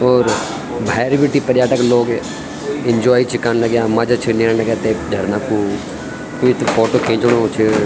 और भैर बिटिक पर्यटक लोग एन्जॉय छ कन लग्यां मजा छन लेण लग्यां ते झरना कु कुई त फोटो खिच्णु च।